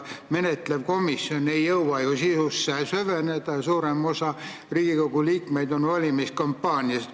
Menetlev komisjon ei jõua sisusse süveneda ja suurem osa Riigikogu liikmeid on valimiskampaaniast haaratud.